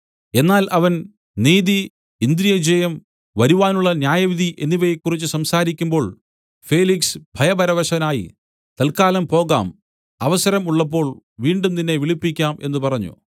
എന്നാൽ അവൻ നീതി ഇന്ദ്രിയജയം വരുവാനുള്ള ന്യായവിധി എന്നിവയെക്കുറിച്ച് സംസാരിക്കുമ്പോൾ ഫേലിക്സ് ഭയപരവശനായി തൽക്കാലം പോകാം അവസരം ഉള്ളപ്പോൾ വീണ്ടും നിന്നെ വിളിപ്പിക്കാം എന്നു പറഞ്ഞു